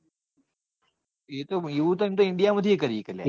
એવું તો એમ તો india પણ કરી સકે લ્યા.